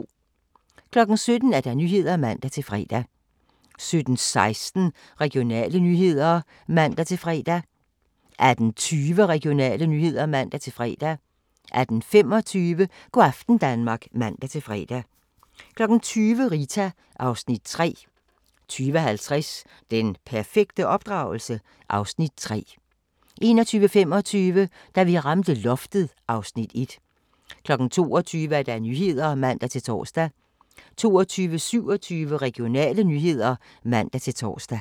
17:00: Nyhederne (man-fre) 17:16: Regionale nyheder (man-fre) 17:25: Go' aften Danmark (man-fre) 18:20: Regionale nyheder (man-fre) 18:25: Go' aften Danmark (man-fre) 20:00: Rita (Afs. 3) 20:50: Den perfekte opdragelse? (Afs. 3) 21:25: Da vi ramte loftet (Afs. 1) 22:00: Nyhederne (man-tor) 22:27: Regionale nyheder (man-tor)